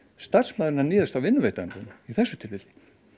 starfsmaðurinn að níðast á vinnuveitandanum í þessu tilviki